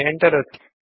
enter ಒತ್ತಿ